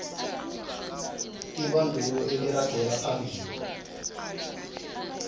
ibandulo eliragela phambili